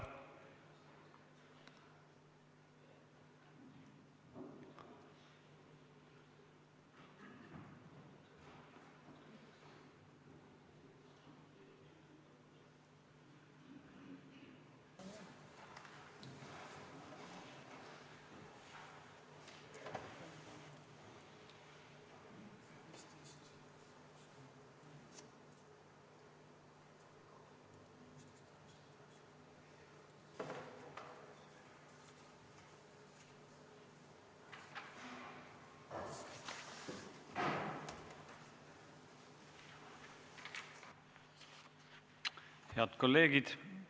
Head kolleegid!